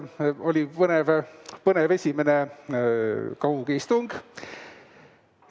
Oli põnev esimene kaugistung.